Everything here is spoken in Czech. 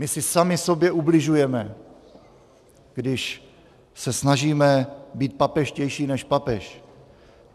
My si sami sobě ubližujeme, když se snažíme být papežštější než papež.